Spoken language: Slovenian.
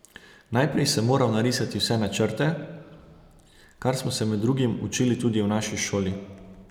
Najprej sem moral narisati vse načrte, kar smo se med drugim učili tudi v naši šoli.